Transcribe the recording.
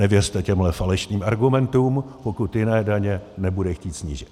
Nevěřte těmhle falešným argumentům, pokud jiné daně nebude chtít snížit.